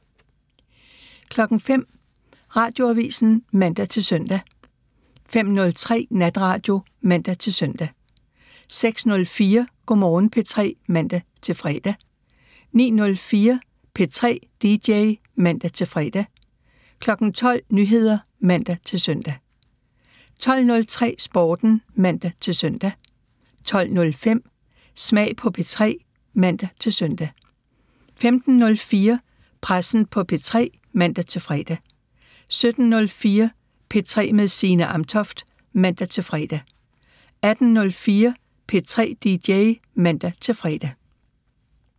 05:00: Radioavisen (man-søn) 05:03: Natradio (man-søn) 06:04: Go' Morgen P3 (man-fre) 09:04: P3 DJ (man-fre) 12:00: Nyheder (man-søn) 12:03: Sporten (man-søn) 12:05: Smag på P3 (man-søn) 15:04: Pressen på P3 (man-fre) 17:04: P3 med Signe Amtoft (man-fre) 18:04: P3 DJ (man-fre)